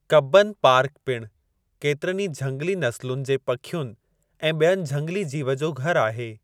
Cubbon park पिणु केतिरनि ई झंगली नसुलनि जे पखियुनि ऐं ॿियनि झंगली जीव जो घरु आहे।